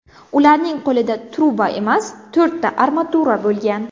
Ularning qo‘lida truba emas, to‘rtta armatura bo‘lgan.